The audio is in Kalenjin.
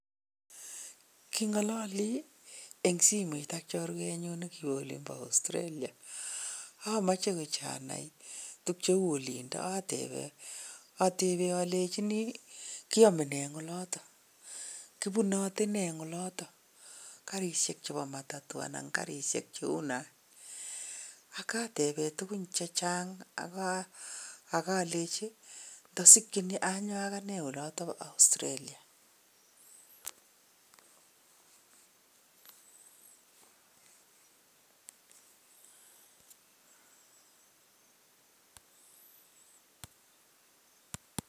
Kingalali eng simet ak chorwenyun nekiwo olimbo Australia amache kityo anai tuk cheu olindo, atebe alenchini kiame eng oloto, kibunote nee eng oloto, karishek chebo matatu anan karishek cheu nach, akatebe tugun chechang akalechi ndasikchini anyo akine oloto bo Australia.